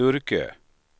Sturkö